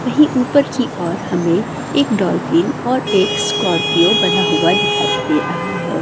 वही ऊपर की और हमें एक डॉल्फिन और एक स्कॉर्पियो बना हुआ दिखाई दे रहा है।